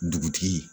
Dugutigi